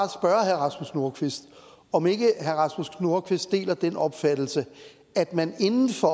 rasmus nordqvist om herre rasmus nordqvist ikke deler den opfattelse at man inden for